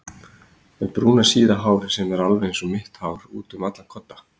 Með brúna síða hárið sem er alveg einsog mitt hár útum allan kodda.